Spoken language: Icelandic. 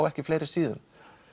ekki fleiri síðum